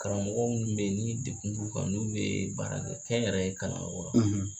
Karamɔgɔ minnu bɛ yen ni dekun b'u kan n'u bee baara kɛ kɛ yɛrɛ ye kalan yɔrɔ la